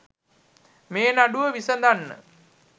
මේ නඩුව විසඳන්න.